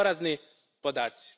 To su porazni podaci.